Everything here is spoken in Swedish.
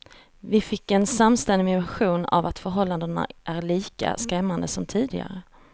Vi fick en samstämmig version av att förhållandena är lika skrämmande som tidigare.